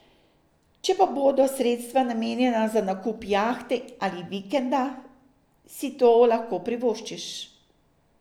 Če pa bodo sredstva namenjena za nakup jahte ali vikenda, si to lahko privoščiš.